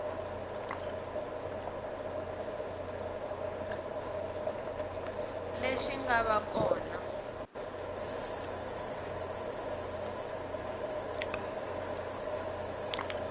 lexi nga va ka kona